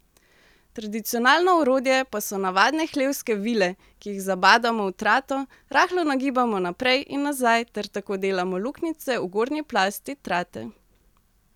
Tradicionalno orodje pa so navadne hlevske vile, ki jih zabadamo v trato, rahlo nagibamo naprej in nazaj ter tako delamo luknjice v gornji plasti trate.